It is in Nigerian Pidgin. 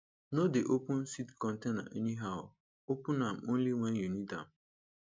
no dey open seed container anyhow open am only when you need am